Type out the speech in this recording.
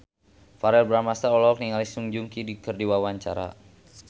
Verrell Bramastra olohok ningali Song Joong Ki keur diwawancara